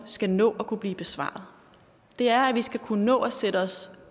skal nå at kunne blive besvaret det er at vi skal kunne nå at sætte os